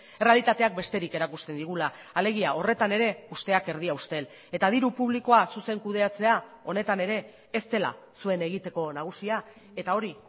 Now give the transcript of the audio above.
errealitateak besterik erakusten digula alegia horretan ere usteak erdia ustel eta diru publikoa zuzen kudeatzea honetan ere ez dela zuen egiteko nagusia eta hori